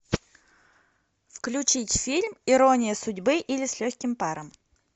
включить фильм ирония судьбы или с легким паром